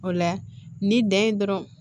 O la ni dan ye dɔrɔn